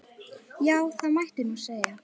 Já, það mætti nú segja.